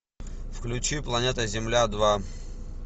включи планета земля два